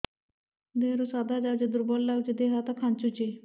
ଦେହରୁ ସାଧା ଯାଉଚି ଦୁର୍ବଳ ଲାଗୁଚି ଦେହ ହାତ ଖାନ୍ଚୁଚି